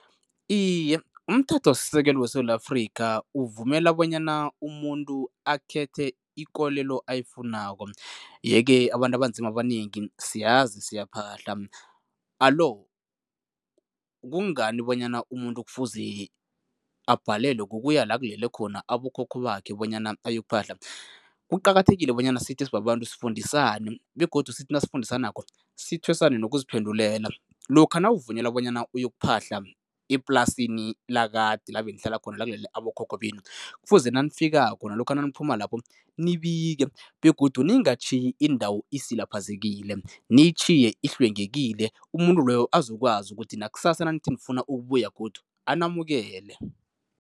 Iye, umthethosisekelo weSewula Afrika uvumela bonyana umuntu akhethe ikolelo ayifunako yeke abantu abanzima abanengi siyazi siyaphahla alo kungani bonyana umuntu kufuze abhalelwe kukuya la kulele khona abokhokho bakhe bonyana uyokuphahla? Kuqakathekile bonyana sithi sibabantu sifundisane begodu sithi nasifundisanako, sithwesane nokuziphendulela. Lokha nawuvunyelwa bonyana uyokuphahla eplasini lakade la benihlala khona, la kulele abokhokho benu, kufuze nanifikako nalokha naniphuma lapho, nibike begodu ningatjhiyi indawo isilaphazekile, niyitjhiye ihlwengekile, umuntu loyo azokwazi ukuthi nakusasa nanithi nifuna ukubuya godu, anamukele.